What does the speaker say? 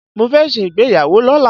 Mo fẹ́ ṣe ìgbéyàwó lọ́la.